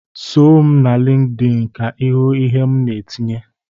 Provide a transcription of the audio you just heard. Soo m na LịnkedỊnị ka ịhụ ihe m na-etinye!